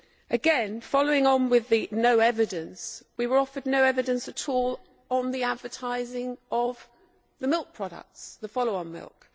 Again, following on with the no evidence', we were offered no evidence at all on the advertising of the milk products, the follow on milk.